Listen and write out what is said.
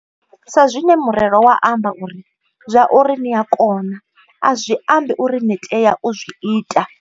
Sa zwine murero wa amba uri, zwauri ni a kona, a zwi ambi uri ni tea u zwi ita.